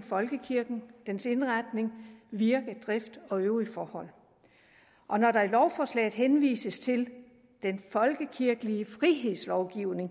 folkekirken dens indretning virke drift og øvrige forhold og når der i lovforslaget henvises til den folkekirkelige frihedslovgivning